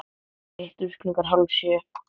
Hittumst klukkan hálf sjö.